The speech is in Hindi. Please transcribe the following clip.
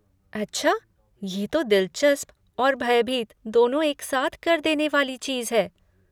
अच्छा, ये तो दिलचस्प और भयभीत दोनों एक साथ कर देने वाली चीज़ है।